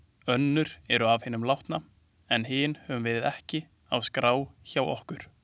Önnur eru af hinum látna en hin höfum við ekki á skrá hjá okkur.